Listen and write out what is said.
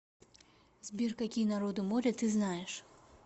сбер какие народы моря ты знаешь